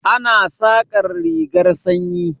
Ana saƙar rigar sanyi.